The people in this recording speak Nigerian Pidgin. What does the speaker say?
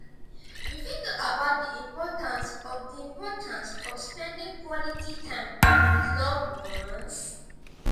you fit talk about di importance of di importance of spending quality time with loved ones?